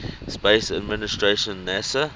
space administration nasa